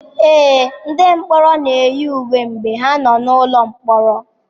Ee, ndị mkpọrọ na-eyi uwe mgbe ha nọ n'ụlọ mkpọrọ.